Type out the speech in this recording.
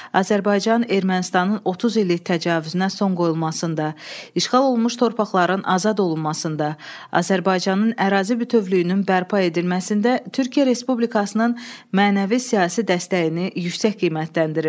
Azərbaycan Ermənistanın 30 illik təcavüzünə son qoyulmasında, işğal olunmuş torpaqların azad olunmasında, Azərbaycanın ərazi bütövlüyünün bərpa edilməsində Türkiyə Respublikasının mənəvi siyasi dəstəyini yüksək qiymətləndirir.